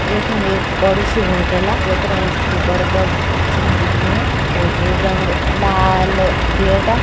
यखम एक बड़ु सी होटल जे पर एंच खूब बड़ु बड़ु अक्षरों मा लिख्युं वा होटल रंग लाल गेटा ।